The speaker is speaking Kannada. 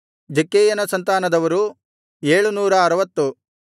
ಜಕ್ಕೈಯನ ಸಂತಾನದವರು 760